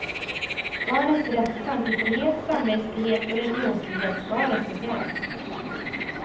Barnets rätt till tankefrihet, samvetsfrihet och religionsfrihet ska respekteras.